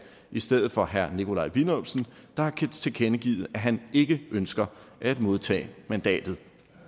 i stedet for herre nikolaj villumsen der har tilkendegivet at han ikke ønsker at modtage mandatet